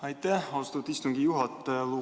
Aitäh, austatud istungi juhataja!